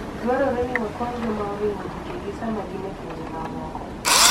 Dwarore ni wakony joma oringo thuchegi sama gin e pinje mamoko.